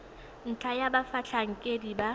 ntlha ya fa batlhankedi ba